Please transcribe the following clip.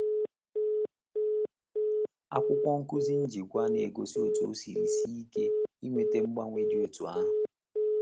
Akwụkwọ nkuzi njikwa na-egosi otú o siri sie ike iweta mgbanwe dị otú ahụ.